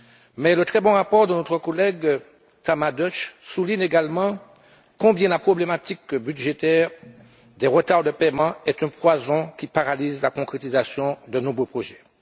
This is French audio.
Mais le très bon rapport de notre collègue, Tamás Deutsch, souligne également combien la problématique budgétaire des retards de paiement est un poison qui paralyse la concrétisation de nombreux projets.